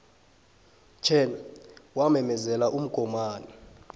chan wamemezela umgomani